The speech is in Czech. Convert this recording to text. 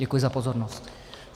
Děkuji za pozornost.